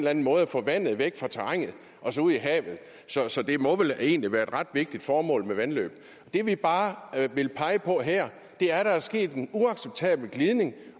anden måde at få vandet væk fra terrænet og så ud i havet så så det må vel egentlig være et ret vigtigt formål med vandløb det vi bare vil pege på her er at der er sket en uacceptabel glidning